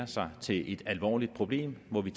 sig til et alvorligt problem må vi